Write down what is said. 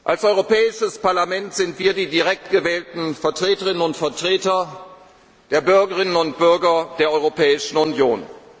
danken. Als Europäisches Parlament sind wir die direkt gewählten Vertreterinnen und Vertreter der Bürgerinnen und Bürger der Europäischen